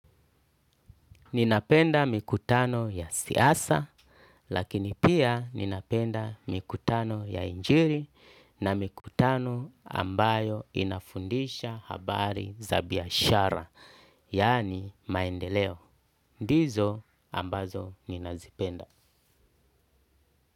Ninapenda mikutano ya siasa, lakini pia ninapenda mikutano ya injili na mikutano ambayo inafundisha habari za biashara, yaani maendeleo. Ndizo ambazo ninazipenda.